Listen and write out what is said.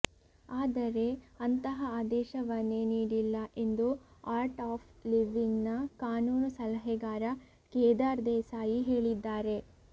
ಆದರೆ ಅಂತಹ ಆದೇಶವನ್ನೇ ನೀಡಿಲ್ಲ ಎಂದು ಆರ್ಟ್ ಆಫ್ ಲಿವಿಂಗ್ನ ಕಾನೂನು ಸಲಹೆಗಾರ ಕೇದಾರ್ ದೇಸಾಯಿ ಹೇಳಿದ್ದಾರೆ